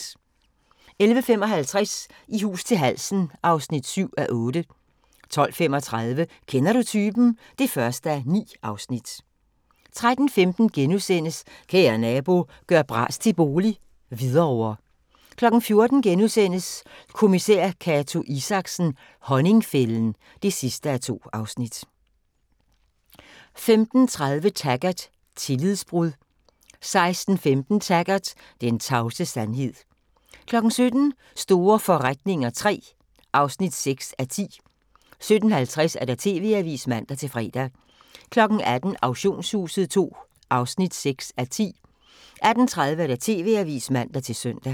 11:55: I hus til halsen III (7:8) 12:35: Kender du typen? (1:9) 13:15: Kære Nabo – gør bras til bolig - Hvidovre * 14:00: Kommissær Cato Isaksen: Honningfælden (2:2)* 15:30: Taggart: Tillidsbrud 16:15: Taggart: Den tavse sandhed 17:00: Store forretninger III (6:10) 17:50: TV-avisen (man-fre) 18:00: Auktionshuset II (6:10) 18:30: TV-avisen (man-søn)